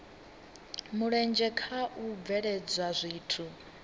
mulenzhe kha u bveledza zwithu